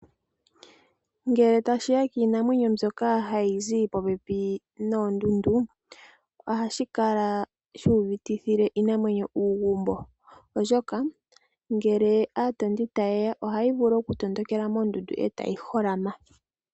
Ngele tashi ya kiinamwenyo mbyoka hayi zi popepi noondundu, oha shi kala shi uvitithile iinamwenyo uugumbo. Ngele aatondi ta ye ya, ohayi vulu okutondokela noondundu, e ta yi holama.